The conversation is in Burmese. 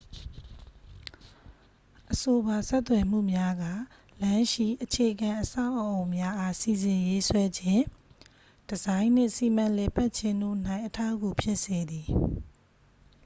အဆိုပါဆက်သွယ်မှုများက လမ်းရှိ အခြေခံအဆောက်အအုံများအား စီစဉ်ရေးဆွဲခြင်း ဒီဇိုင်းနှင့် စီမံလည်ပတ်ခြင်းတို့၌ အထောက်အကူဖြစ်စေသည်